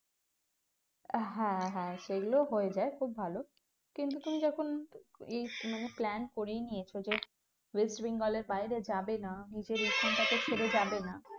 হ্যাঁ হ্যাঁ সেগুলো হয়ে যায় খুব ভালো কিন্তু তুমি যখন এই মানে plan করেই নিয়েছো যে ওয়েস্ট বেঙ্গল এর বাইরে যাবে না নিজের এইখানটাতে ছেড়ে যাবে না